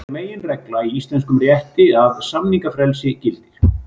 Það er meginregla í íslenskum rétti að samningafrelsi gildir.